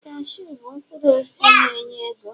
cashew bụ mkpụrụ osisi na enye ego